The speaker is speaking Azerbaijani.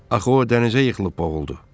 Axı o dənizə yıxılıb boğuldu.